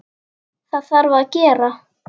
Það þarf að gera.